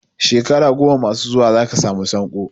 Shekara goma masu zuwa za ka samu sanko.